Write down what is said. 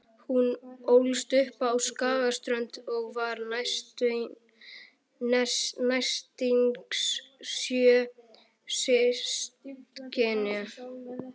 Hún ólst upp á Skagaströnd og var næstyngst sjö systkina.